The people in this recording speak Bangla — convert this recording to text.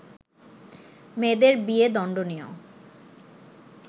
মেয়েদের বিয়ে দণ্ডনীয়